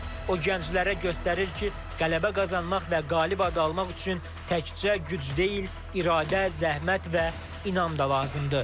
O gənclərə göstərir ki, qələbə qazanmaq və qalib adı almaq üçün təkcə güc deyil, iradə, zəhmət və inam da lazımdır.